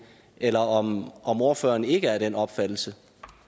eller om om ordføreren ikke er af den opfattelse